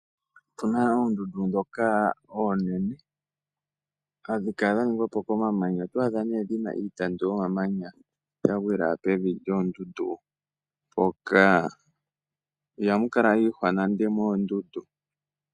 Opuna oondundu ndhoka oonene hadhi kala dha ningwa po komamanya. Oto adha nee dhina iitandu yomamanya ya gwila pevi lyoondundu mpoka. Ihamu kala iihwa nande moondundu.